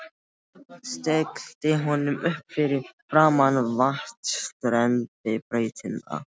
Stillti honum upp fyrir framan vatnsrennibrautina.